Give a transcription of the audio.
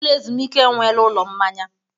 Ụlọ ezumike enweela ụlọ mmanya.